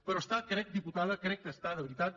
però està crec diputada crec que està de veritat